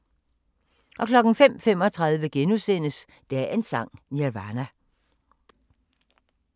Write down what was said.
05:35: Dagens Sang: Nirvana *